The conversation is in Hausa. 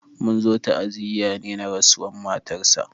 Munzo ta'aziya ne na rasuwan matar sa